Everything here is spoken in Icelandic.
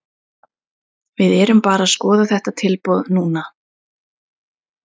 Við erum bara að skoða þetta tilboð núna.